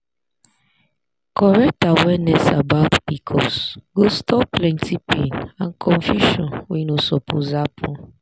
correct awareness about pcos go stop plenty pain and confusion wey no suppose happen.